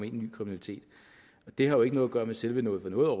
i ny kriminalitet har jo ikke noget at gøre med selve noget for noget